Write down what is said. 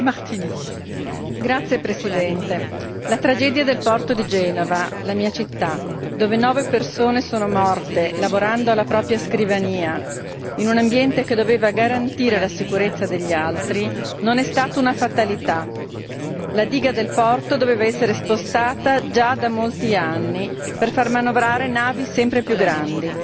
Signor Presidente, onorevoli colleghi, la tragedia del porto di Genova, la mia città, dove nove persone sono morte lavorando alla propria scrivania, in un ambiente che doveva garantire la sicurezza degli altri, non è stata una fatalità. La diga del porto doveva essere spostata già da molti anni per far manovrare navi sempre più grandi